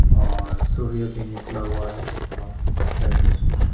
और सूर्य भी निकला हुआ है और अच्छा हैये तस्वीर--